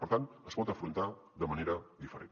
per tant es pot afrontar de manera diferent